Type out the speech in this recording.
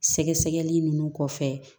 Sɛgɛsɛgɛli ninnu kɔfɛ